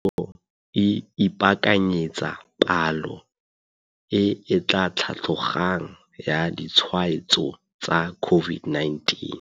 Puso e ipakanyetsa palo e etla tlhatlogang ya ditshwaetso tsa COVID-19.